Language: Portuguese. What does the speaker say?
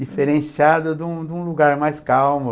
Diferenciado de um de um lugar mais calmo.